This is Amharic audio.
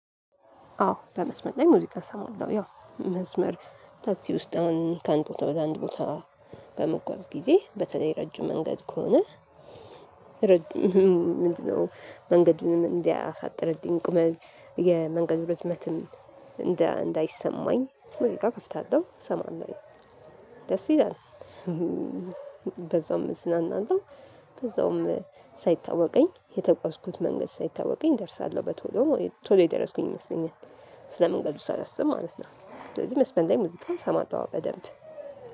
አዎ በመስመር ላይ ሙዚቃ እሰማለው ያው መስመር ታክሲ ውስጥ አሁን ከአንድ ቦታ ወደ አንድ ቦታ በምጓዝ ጊዜ በተለይ ረጅም መንገድ ከሆነ። ረጅም ምንድነው? መንገዱን እንዲያሳጥርልኝ ቁመን የመንገዱ ርዝመትም እንዳይሰማኝ እንዴ ሙዚቃ እከፍታለሁ ሰማለሁኝ ደስ ይላል። በዛውም እዝናናለው። በዛውም ሳይታወቀኝ የተጓዝኩት መንገድ ሳይታወቀኝ እደርሳለሁ በቶሎ ቶሎ የደረስኩኝ ይመስለኛል ስለመንገዱ ሳላስብ ማለት ነው። ስለዚህ መስመር ላይ ሙዜቃ እሰማለሁ አዎ በደንብ